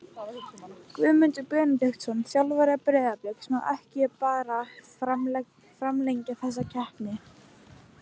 Guðmundur Benediktsson, þjálfari Breiðabliks Má ekki bara framlengja þessa keppni?